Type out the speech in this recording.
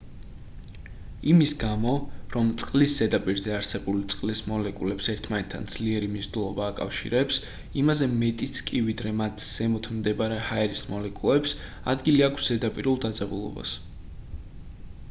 იმის გამო რომ წყლის ზედაპირზე არსებული წყლის მოლეკულებს ერთმანეთთან ძლიერი მიზიდულობა აკავშირებს იმაზე მეტიც კი ვიდრე მათ ზემოთ მდებარე ჰაერის მოლეკულებს ადგილი აქვს ზედაპირულ დაძაბულობას